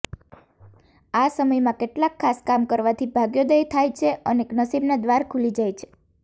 આ સમયમાં કેટલાક ખાસ કામ કરવાથી ભાગ્યોદય થાય છે અને નસીબના દ્વાર ખુલી જાય છે